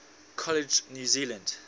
college new zealand